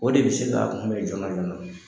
O de bɛ se k'a kunbɛ jɔɔna jɔɔna.